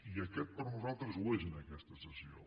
i aquest per nosaltres ho és en aquesta sessió